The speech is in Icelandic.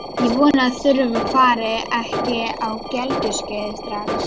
Ég vona að Þura fari ekki á gelgjuskeiðið strax.